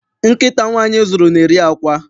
Nkịta nwaanyị zụrụ, na-eri àkwá.